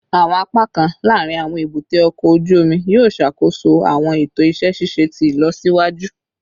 Awọn apakan laarin awọn ebute oko oju omi yoo ṣakoso awọn eto iṣẹ ṣiṣe ti ilọsiwaju